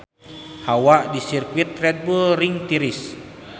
Hawa di Sirkuit Red Bull Ring tiris